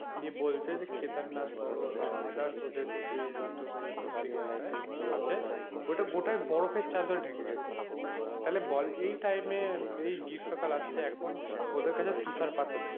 নিয়ে বলছে যে কেদারনাথ বলো বা others যে উত্তর প্রদেশের জায়গাটায় আছে ওটা গোটাই বরফের চাদরে ঢেকে গেছে তাহলে বল এই time এ এই গ্রীষ্মকাল আসছে এখন ওদের কাছে টুথার পাথর,